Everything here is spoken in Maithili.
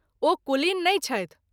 ओ कुलीन नहिं छथि।